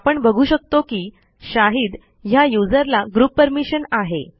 आपण बघू शकतो की शाहीद ह्या यूझर ला ग्रुप परमिशन आहे